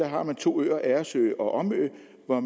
har man to øer agersø og omø hvor